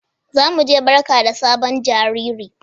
za mu je barka da sabon jariri.